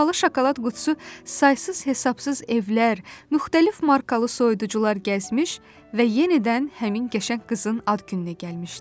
Bahalı şokolad qutusu saysız-hesabsız evlər, müxtəlif markalı soyuducular gəzmiş və yenidən həmin qəşəng qızın ad gününə gəlmişdi.